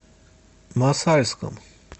мосальском